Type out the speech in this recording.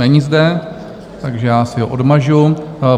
Není zde, takže já si ho odmažu.